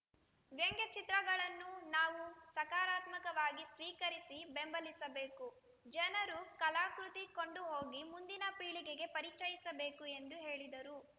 ವ್ಯಂಗ್ಯ ಚಿತ್ರಗಳನ್ನು ನಾವು ಸಕಾರಾತ್ಮಕವಾಗಿ ಸ್ವೀಕರಿಸಿ ಬೆಂಬಲಿಸಬೇಕು ಜನರು ಕಲಾಕೃತಿ ಕೊಂಡುಹೋಗಿ ಮುಂದಿನ ಪೀಳಿಗೆಗೆ ಪರಿಚಯಿಸಬೇಕು ಎಂದು ಹೇಳಿದರು